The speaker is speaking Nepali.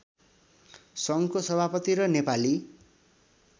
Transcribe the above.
सङ्घको सभापति र नेपाली